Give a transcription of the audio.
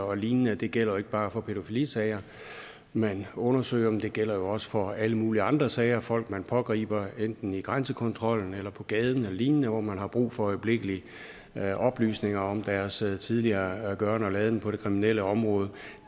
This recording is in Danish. og lignende det gælder jo ikke bare for pædofilisager man undersøger men det gælder jo også for alle mulige andre sager folk man pågriber enten i grænsekontrollen eller på gaden eller lignende hvor man har brug for øjeblikkelige oplysninger om deres tidligere gøren og laden på det kriminelle område